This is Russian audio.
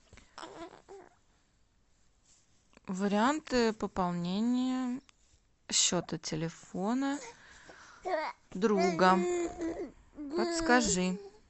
варианты пополнения счета телефона друга подскажи